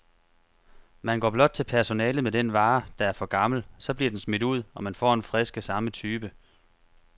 Man går blot til personalet med den vare, der er for gammel, så bliver den smidt ud, og man får en frisk af samme type.